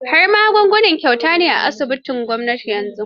Har magunguna kyauta ne a asibitocin gwamnati yanzu.